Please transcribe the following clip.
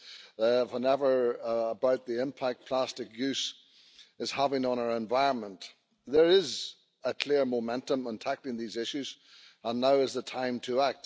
Ongelmamme johtuvat siitä, että materiaalikierto ei toimi. Meidän on ajateltava muovin kierto kokonaisuutena ihan alusta loppuun saakka.